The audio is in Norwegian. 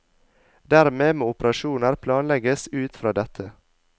Dermed må operasjoner planlegges ut fra dette.